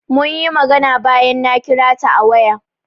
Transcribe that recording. Munyi magana bayan na kira ta a waya.